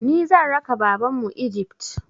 Ni zan raka Babanmu Egypt.